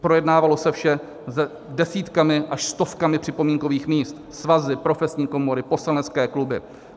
Projednávalo se vše s desítkami až stovkami připomínkových míst: svazy, profesní komory, poslanecké kluby.